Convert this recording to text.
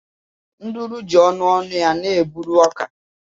Nduru ji ọnụ ọnụ ya na-eburu ọka.